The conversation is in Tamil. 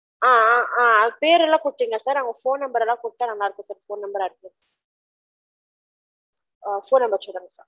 ஆஅம் ஆம் அது பேர்லாம் குடுத்திங்க sir அது phone number லா குடுதிங்கனா நல்லாருகும் sir இந்த number add பன்னு. அ phone number சொல்லுங்க